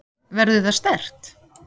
Verður það sterkt?